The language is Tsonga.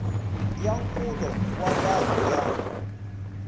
ya nkulo wa vanhu ya